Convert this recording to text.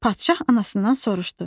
Padşah anasından soruşdu.